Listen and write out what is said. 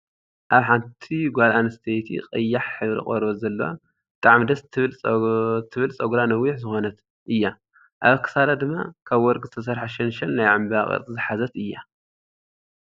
ኣብ ሓንቲ ጎል ኣንስትየቲ ቀያሕ ሕብሪ ቆርበት ዘለዋ ብጣዕሚ ደስ ትብል ፀጉራ ነዊሕ ዝኮነት እያ። ኣብ ክሳዳ ድማ ካብ ወርቂ ዝተሰረሐ ሸንሸል ናይ ዕንበባ ቅርፂ ዝሓዘት እያ።